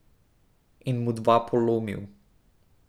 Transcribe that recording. In mu dva polomil.